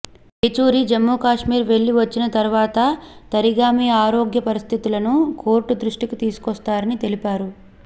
ఏచూరి జమ్మూకాశ్మీర్ వెళ్లి వచ్చిన తరువాత తరిగామి ఆరోగ్య పరిస్థితులను కోర్టు దృష్టికి తీసుకోస్తారని తెలిపారు